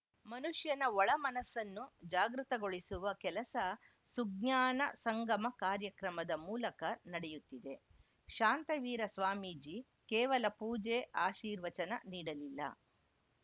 ಮನುಷ್ಯನ ಒಳ ಮನಸ್ಸನ್ನು ಜಾಗೃತಗೊಳಿಸುವ ಕೆಲಸ ಸುಜ್ಞಾನ ಸಂಗಮ ಕಾರ್ಯಕ್ರಮದ ಮೂಲಕ ನಡೆಯುತ್ತಿದೆ ಶಾಂತವೀರ ಸ್ವಾಮೀಜಿ ಕೇವಲ ಪೂಜೆ ಆರ್ಶೀವಚನ ನೀಡಲಿಲ್ಲ